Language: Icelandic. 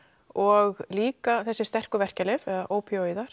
og líka þessi sterku verkjalyf eða